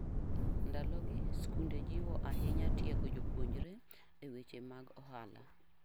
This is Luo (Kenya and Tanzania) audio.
Ndalogi, skunde jiwo ahinya tiego jopuonjre e weche mag ohala.